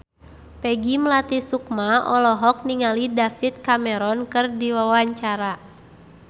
Peggy Melati Sukma olohok ningali David Cameron keur diwawancara